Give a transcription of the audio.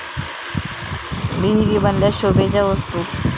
विहिरी बनल्या शोभेच्या वस्तू!